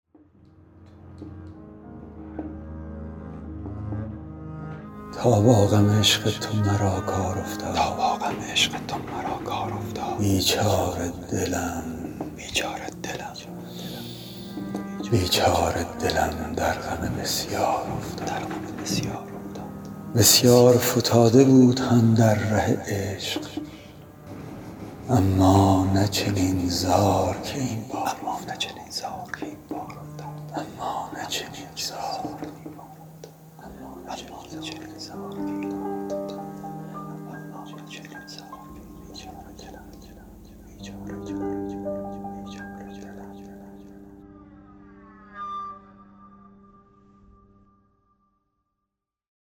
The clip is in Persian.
تا با غم عشق تو مرا کار افتاد بیچاره دلم در غم بسیار افتاد بسیار فتاده بود اندر غم عشق اما نه چنین زار که این بار افتاد